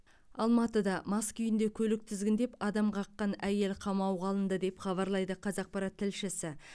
алматыда мас күйінде көлік тізгіндеп адам қаққан әйел қамауға алынды деп хабарлайды қазақпарат тілшісі